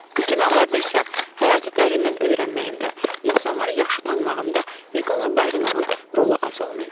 Bütün hallarda isə həyatı dərindən öyrənməyimdə, insanları yaxşı tanımağımda Miqulunla Barinovun rolu az olmayıb.